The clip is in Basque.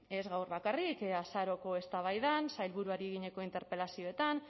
ez gaur bakarrik azaroko eztabaidan sailburuari eginiko interpelazioetan